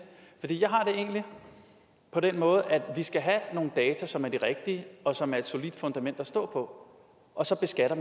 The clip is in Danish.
egentlig på den måde at vi skal have nogle data som er de rigtige og som er et solidt fundament at stå på og så beskatter